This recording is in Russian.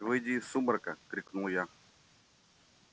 выйди из сумрака крикнул я